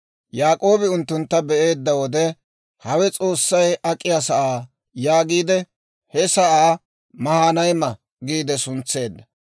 Yaak'oobi unttuntta be'eedda wode, «Hawe S'oossay ak'iyaa sa'aa» yaagiide, he sa'aa Maahinayma giide suntseedda.